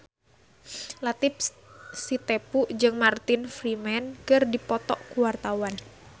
Latief Sitepu jeung Martin Freeman keur dipoto ku wartawan